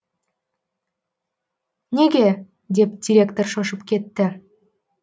неге деп директор шошып кетті